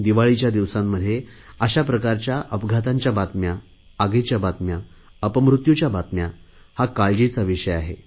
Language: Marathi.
दिवाळीच्या दिवसांमध्ये अशाप्रकारच्या अपघातांच्या बातम्या आगीच्या बातम्या अपमृत्यूच्या बातम्या हा काळजीचा विषय आहे